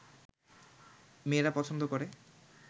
মেয়েরা পছন্দ করে